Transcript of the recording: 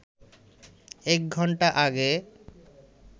এক ঘণ্টা আগে